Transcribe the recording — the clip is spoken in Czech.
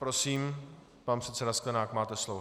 Prosím, pan předseda Sklenák, máte slovo.